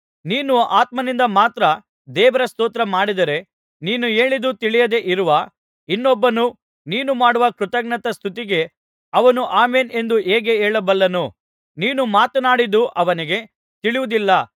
ನೀನು ಆತ್ಮನಿಂದ ಮಾತ್ರ ದೇವರ ಸ್ತೋತ್ರ ಮಾಡಿದರೆ ನೀನು ಹೇಳಿದ್ದು ತಿಳಿಯದೆ ಇರುವ ಇನ್ನೊಬ್ಬನು ನೀನು ಮಾಡುವ ಕೃತಜ್ಞತಾಸ್ತುತಿಗೆ ಅವನು ಆಮೆನ್ ಎಂದು ಹೇಗೆ ಹೇಳಬಲ್ಲನು ನೀನು ಮಾತನಾಡಿದು ಅವನಿಗೆ ತಿಳಿಯುವುದಿಲ್ಲವಲ್ಲಾ